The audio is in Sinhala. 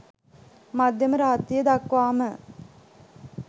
මධ්‍යම රාත්‍රිය දක්වාම